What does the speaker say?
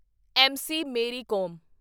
M .C. Mary com